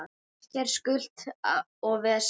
Ekkert skutl og vesen.